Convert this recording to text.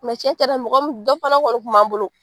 cɛncɛna mɔgɔ min dɔ fana kɔni kun b'an bolo.